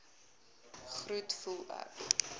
groet voel ek